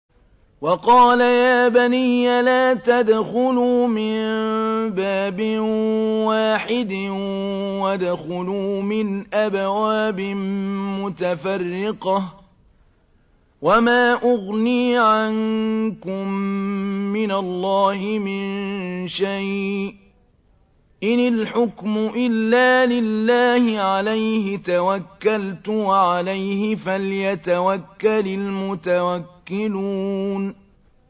وَقَالَ يَا بَنِيَّ لَا تَدْخُلُوا مِن بَابٍ وَاحِدٍ وَادْخُلُوا مِنْ أَبْوَابٍ مُّتَفَرِّقَةٍ ۖ وَمَا أُغْنِي عَنكُم مِّنَ اللَّهِ مِن شَيْءٍ ۖ إِنِ الْحُكْمُ إِلَّا لِلَّهِ ۖ عَلَيْهِ تَوَكَّلْتُ ۖ وَعَلَيْهِ فَلْيَتَوَكَّلِ الْمُتَوَكِّلُونَ